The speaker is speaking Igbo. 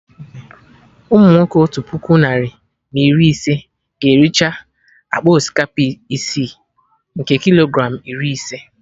Umunwoke Otu puku narị na iri ise ga ericha akpa osikapa isi, nke Kilogram iri ise